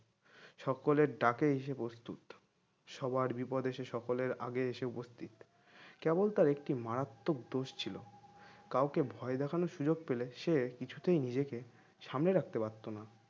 সকলের ডাকে এসে উপস্থিত সবার বিপদের সে সকলের আগে এসে উপস্থিত কেবল তার একটি মারাত্মক দোষ ছিল কাউকে ভয় দেখানোর সুযোগ পেলে সে কিছুতেই নিজেকে সামলে রাখতে পারত না